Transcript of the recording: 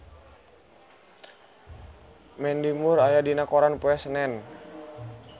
Mandy Moore aya dina koran poe Senen